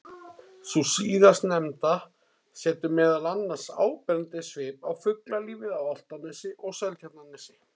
Sú síðastnefnda setur meðal annars áberandi svip á fuglalífið á Álftanesi og Seltjarnarnesi.